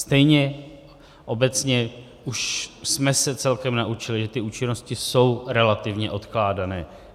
Stejně obecně už jsme se celkem naučili, že ty účinnosti jsou relativně odkládané.